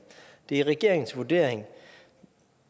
det er regeringens vurdering